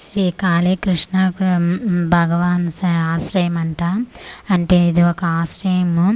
శ్రీ కాళీ కృష్ణాపురం భగవాన్ సాయి ఆశ్రయం అంట ఇది ఒక ఆశ్రేయము.